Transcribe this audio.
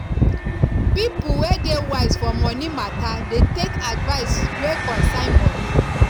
people wey dey wise for moni mata dey take advice wey concern moni